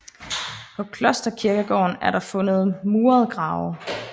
På klosterkirkegården er der fundet murede grave